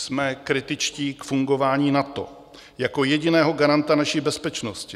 Jsme kritičtí k fungování NATO jako jediného garanta naší bezpečnosti.